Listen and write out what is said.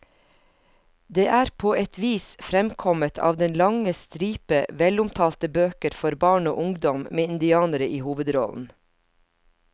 Det er på et vis fremkommet av den lange stripe velomtalte bøker for barn og ungdom med indianere i hovedrollen.